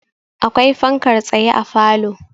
akwai fankar tsaye a falo